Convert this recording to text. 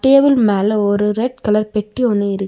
Table மேல ஒரு red colour பெட்டி ஒன்னு இருக்கு.